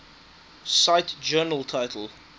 cite journal title